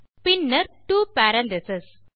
பின்னர் 2 பேரெந்தசிஸ்